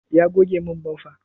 Ya goge min bamfa?